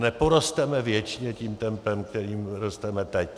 Neporosteme věčně tím tempem, kterým rosteme teď.